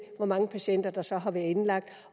hvor mange patienter der så har været indlagt